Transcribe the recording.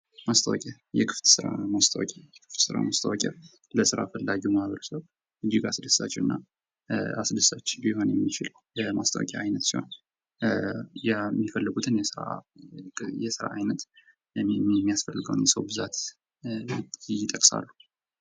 ማስታወቂያ የክፍት ስራ ማስታወቂያ ለስራ ፈላጊው ማህበረሰብ እጅግ አስደሳች ሊሆን የሚችል የማስታወቂያ ዓይነት ሲሆን፤ የሚፈልጉትን የሥራ ዓይነት የሚያስፈልገውን የሰው ብዛት ይጠቅሳሉ።